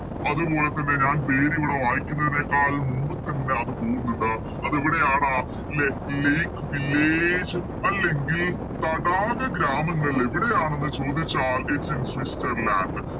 അതുപോലെ തന്നെ ഞാൻ പേരിവിടെ വായിക്കുന്നതിനേക്കാൾ മുമ്പ് തന്നെ അത് പോവുന്നുണ്ട് അതെവിടെയാണ് ലെ Lake village അല്ലെങ്കിൽ തടാക ഗ്രാമങ്ങൾ എവിടെയാണെന്ന് ചോദിച്ചാൽ Its in സ്വിസ്സർലാൻഡ്